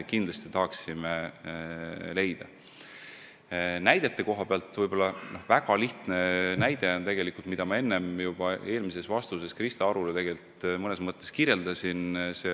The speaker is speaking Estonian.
Mis puutub näidetesse, siis üks lihtne näide on olemas, mida ma juba Krista Arule vastates mõnes mõttes kirjeldasin.